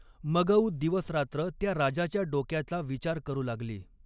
मगऊ दिवसरात्र त्या राजाच्या डोक्याचा विचार करू लागली.